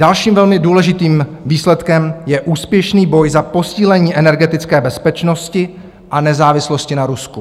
Dalším velmi důležitým výsledkem je úspěšný boj za posílení energetické bezpečnosti a nezávislosti na Rusku.